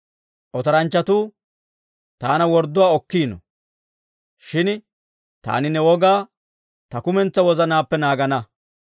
Otoranchchatuu taana wordduwaa okkiino; shin taani ne wogaa ta kumentsaa wozanaappe naagana.